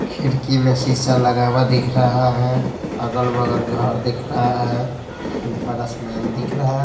खिड़की में शीशा लगा हुआ दिख रहा है अगल-बगल घर दिख रहा है ऊपर आसमान दिख रहा है।